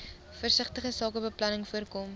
versigtige sakebeplanning voorkom